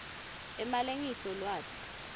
emalengiso lwati